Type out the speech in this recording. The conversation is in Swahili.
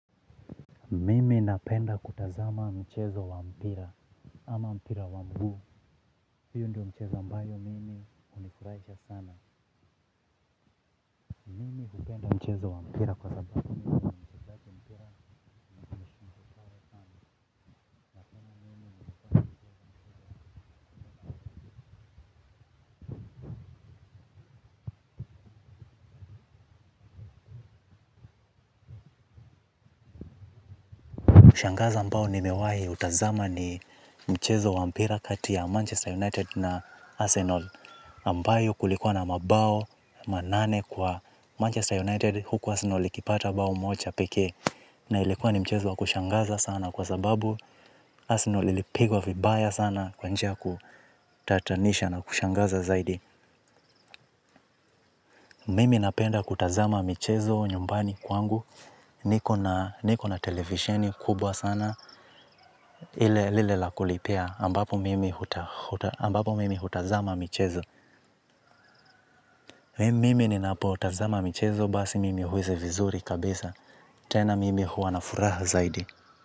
Mimi napenda kutazama mchezo wa mpira, ama mpira wa mguu, hiyo ndiyo mchezo ambayo mimi hunifurahisha sana, mimi hupenda mchezo wa mpira kwa sababu ushangaza ambao ni mewahi utazama ni mchezo wa mpira kati ya Manchester United na Arsenal. Ambayo kulikuwa na mabao manane kwa Manchester United. Huku Arsenal ikipata bao moja pekee. Na ilikuwa ni mchezo wa kushangaza sana kwa sababu. Arsenal ilipigwa vibaya sana kwa njia ya kutatanisha na kushangaza zaidi. Mimi napenda kutazama michezo nyumbani kwangu. Niko na televisheni kubwa sana. Ile ya lila la kulipia ambapo mimi hutazama michezo. Mimi ninapotazama michezo basi mimi huwezi vizuri kabisa. Tena mimi huwa na furaha zaidi.